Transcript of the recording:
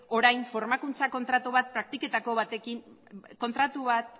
orain formakuntza